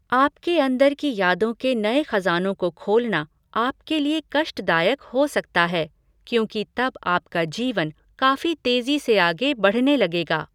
आपके अंदर की यादों के नए खज़ानों को खोलना आपके लिए कष्टदायक हो सकता है क्योंकि तब आपका जीवन काफी तेजी से आगे बढ़ने लगेगा।